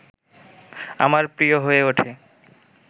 আমার প্রিয় হয়ে ওঠে